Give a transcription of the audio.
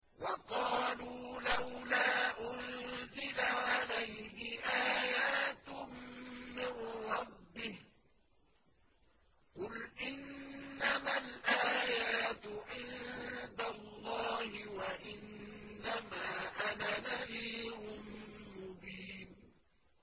وَقَالُوا لَوْلَا أُنزِلَ عَلَيْهِ آيَاتٌ مِّن رَّبِّهِ ۖ قُلْ إِنَّمَا الْآيَاتُ عِندَ اللَّهِ وَإِنَّمَا أَنَا نَذِيرٌ مُّبِينٌ